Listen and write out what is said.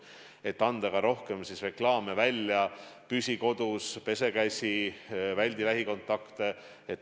Me oleme püüdnud rohkem reklaame avaldada: püsi kodus, pese käsi, väldi lähikontakte.